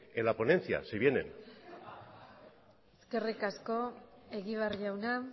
en la ponencia si viene eskerrik asko egibar jauna